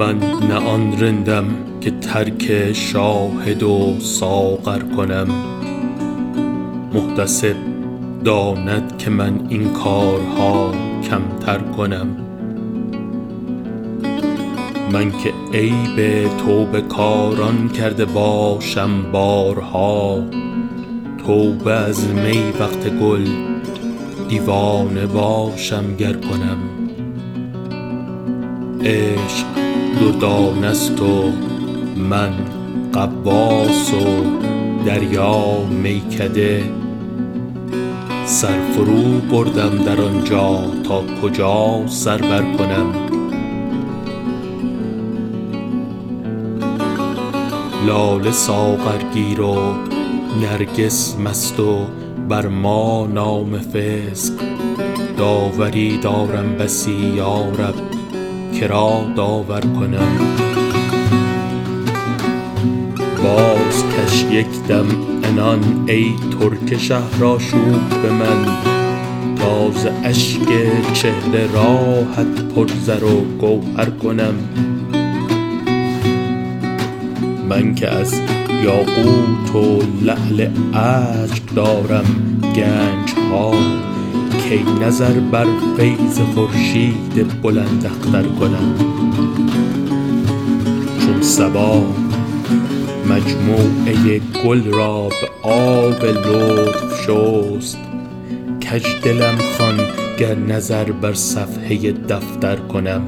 من نه آن رندم که ترک شاهد و ساغر کنم محتسب داند که من این کارها کمتر کنم من که عیب توبه کاران کرده باشم بارها توبه از می وقت گل دیوانه باشم گر کنم عشق دردانه ست و من غواص و دریا میکده سر فروبردم در آن جا تا کجا سر برکنم لاله ساغرگیر و نرگس مست و بر ما نام فسق داوری دارم بسی یا رب که را داور کنم بازکش یک دم عنان ای ترک شهرآشوب من تا ز اشک و چهره راهت پر زر و گوهر کنم من که از یاقوت و لعل اشک دارم گنج ها کی نظر در فیض خورشید بلنداختر کنم چون صبا مجموعه گل را به آب لطف شست کج دلم خوان گر نظر بر صفحه دفتر کنم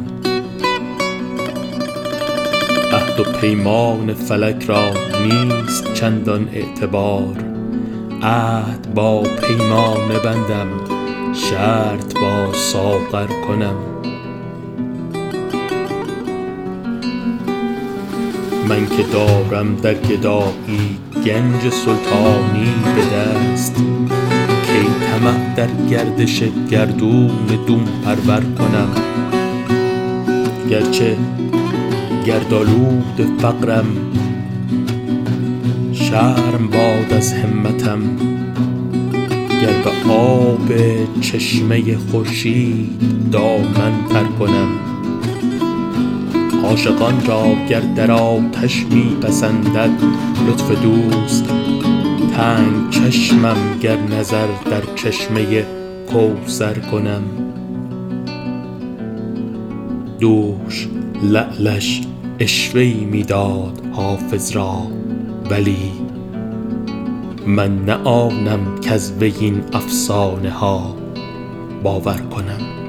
عهد و پیمان فلک را نیست چندان اعتبار عهد با پیمانه بندم شرط با ساغر کنم من که دارم در گدایی گنج سلطانی به دست کی طمع در گردش گردون دون پرور کنم گر چه گردآلود فقرم شرم باد از همتم گر به آب چشمه خورشید دامن تر کنم عاشقان را گر در آتش می پسندد لطف دوست تنگ چشمم گر نظر در چشمه کوثر کنم دوش لعلش عشوه ای می داد حافظ را ولی من نه آنم کز وی این افسانه ها باور کنم